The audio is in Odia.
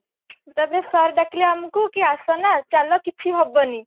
ତାପରେ ସିର ଡାକିଲେ ଆମକୁ କି ଅସନା ଚାଲ କିଛି ହବନି